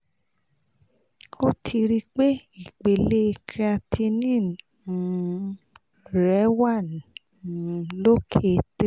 o ti ri pe ipele creatinine um rẹ wa um loke 3